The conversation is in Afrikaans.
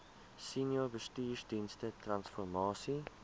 senior bestuursdienste transformasie